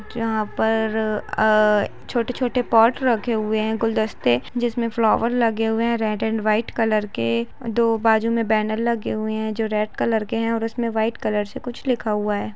यहाँ पर अ छोटे-छोटे पॉट रखे हुए है गुलदस्ते जिसमे फ्लावर लगे हुए है रेड एंड वाइट कलर के दो बाजु में बैनर लगे हुए है जो रेड कलर के है और उसमे व्हाइट कलर से कुछ लिखा हुआ है।